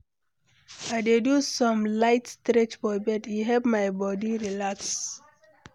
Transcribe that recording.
I dey do some light stretch for bed, e help my body relax.